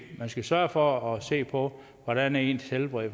man skal sørge for at se på hvordan ens helbred